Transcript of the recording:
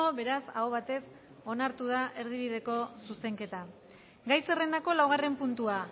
beraz aho batez onartu da erdibideko zuzenketa gai zerrendako laugarren puntua